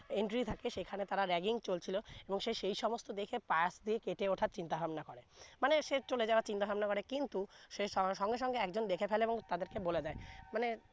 entry থাকে সেখানে তারা ragging চলছিলো এবং সেই সমস্থ দেখে পাশ দিয়ে কেটে উঠার চিন্তা ভাবনা করে মানে সে চলে যাওয়ার চিন্তা ভাবনা করে কিন্তু সে সঙ্গে সঙ্গে দেখে ফেলে এবং তাদের কে বলে দেয় মানে